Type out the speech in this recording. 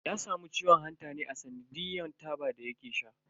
Ya samu ciwon hanta ne a tsanadiyan taba da yake sha.